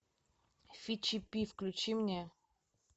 фи чи пи включи мне